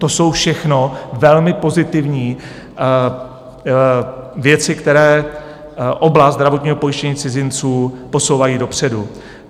To jsou všechno velmi pozitivní věci, které oblast zdravotního pojištění cizinců posouvají dopředu.